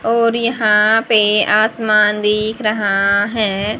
और यहाँ पे आसमान दिख रहा है।